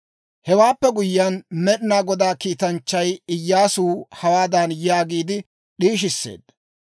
Hewaappe guyyiyaan, Med'inaa Godaa kiitanchchay Iyyaasuw hawaadan yaagiide d'iishisseedda;